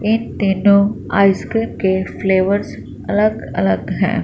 एक ते तो आइसक्रीम के फ्लेवर्स अलग अलग है।